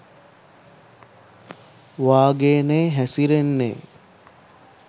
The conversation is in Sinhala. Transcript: වාගේ නේ හැසිරෙන්නේ.